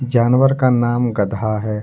जानवर का नाम गधा है।